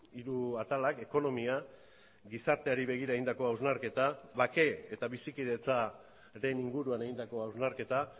hiru atalak ekonomia gizarteari begira egindako hausnarketa bake eta bizikidetzaren inguruan egindako hausnarketa